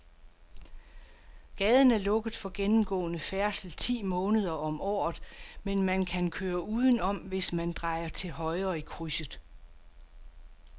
Gaden er lukket for gennemgående færdsel ti måneder om året, men man kan køre udenom, hvis man drejer til højre i krydset.